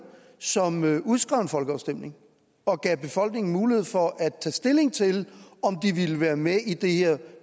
som udskrev en folkeafstemning og gav befolkningen mulighed for at tage stilling til om de ville være med i det her